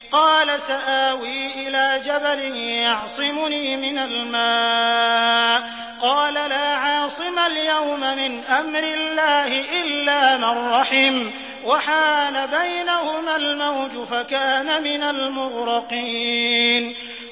قَالَ سَآوِي إِلَىٰ جَبَلٍ يَعْصِمُنِي مِنَ الْمَاءِ ۚ قَالَ لَا عَاصِمَ الْيَوْمَ مِنْ أَمْرِ اللَّهِ إِلَّا مَن رَّحِمَ ۚ وَحَالَ بَيْنَهُمَا الْمَوْجُ فَكَانَ مِنَ الْمُغْرَقِينَ